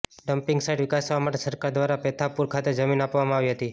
dumping site વિકસાવવા માટે સરકાર દ્વારા પેથાપુર ખાતે જમીન આપવામાં આવી હતી